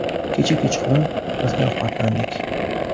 Kecha kechqurun birga ovqatlandik.